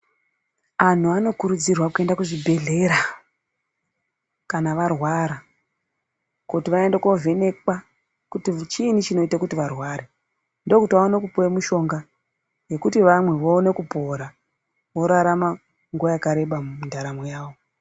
Anhu anokurudzirwa kuenda kuzvibhedhlera kana varwara kuti vaende kunovhekwa kuti chiinyi chinoita kuti varware ndokuti vaone kupiwe mishonga yekuti vamwe vaone kupora vaone kurarama makore akwanda mundaramo yedu.